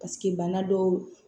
Paseke bana dɔw